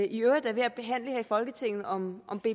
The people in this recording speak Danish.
i øvrigt er ved at behandle her i folketinget om